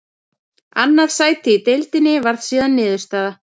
Annað sæti í deildinni varð síðan niðurstaða.